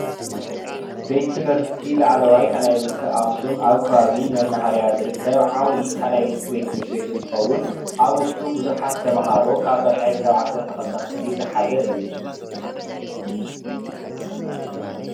ቤት ትምህርቲ ላዕለዋይ ካልኣይ ብርኪ አክሱም አብ ከባቢ መናሃርያ ዝርከብ ዓብይ ካልአይ ብርኪ ትምህርቲ ቤት እንትኸውን አብ ውሽጡ ብዙሓት ተምሃሮ ካብ ታሽዓይ ክሳብ ዓሰርተ ክልተ ክፍሊ ዝሓዘ እዩ ።